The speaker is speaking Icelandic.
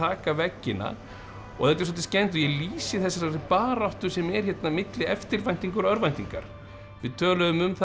taka veggina og þetta er svolítið skemmtilegt ég lýsi þessari baráttu sem er milli eftirvæntingar og örvæntingar við töluðum um